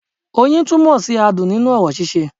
Oyin túnmò sí adùn nínú orò síse